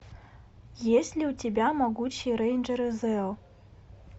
есть ли у тебя могучие рейнджеры зео